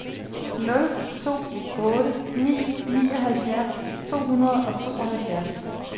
nul to otte ni nioghalvfjerds to hundrede og tooghalvfjerds